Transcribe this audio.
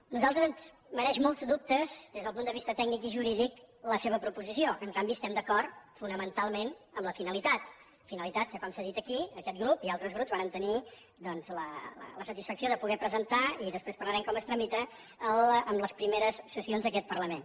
a nosaltres ens mereix molts dubtes des del punt de vista tècnic i jurídic la seva proposició en canvi estem d’acord fonamentalment en la finalitat finalitat que com s’ha dit aquí aquest grup i altres grups vàrem tenir doncs la satisfacció de poder presentar i després parlarem de com es tramita en les primeres sessions d’aquest parlament